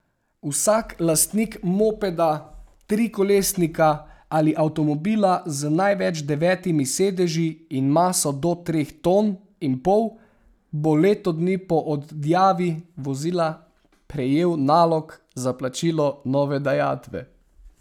Vsak lastnik mopeda, trikolesnika ali avtomobila z največ devetimi sedeži in maso do treh ton in pol bo leto dni po odjavi vozila prejel nalog za plačilo nove dajatve.